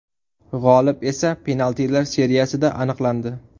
G‘olib esa penaltilar seriyasida aniqlandi.